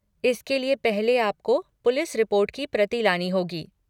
इसके लिए पहले आपको पुलिस रिपोर्ट की प्रति लानी होगी।